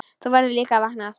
Þú verður að vakna.